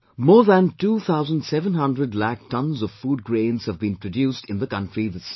More than two thousand seven hundred lakh tonnes of food grains have been produced in the country this year